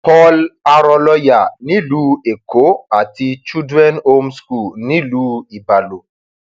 paul arọlọyà nílùú èkó àti children home school nílùú ibalo